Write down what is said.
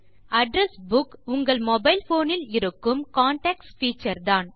address book உங்கள் mobile phone ல் இருக்கும் கான்டாக்ட்ஸ் பீச்சர் தான்